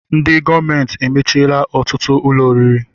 Ndị gọọmenti emechiela ọtụtụ ụlọ oriri